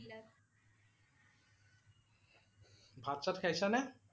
ভাত-চাত খাইছা নে?